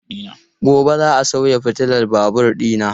Gobe ​​za a sauya fitilar babur dina.